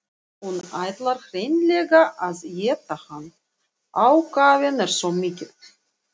Hún ætlar hreinlega að éta hann, ákafinn er svo mikill.